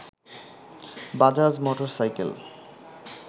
Bajaj motorcycle